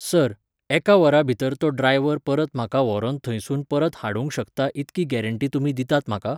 Sir, एका वरा भितर तो ड्रायव्हर परत म्हाका व्होरोन थंयसून परत हाडूंक शकता इतकी गॅरंटी तुमी दितात म्हाका?